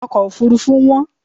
Ọkọ̀ òfuurufú wón.